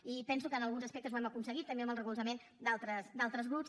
i penso que en alguns aspectes ho hem aconseguit també amb el recolzament d’altres grups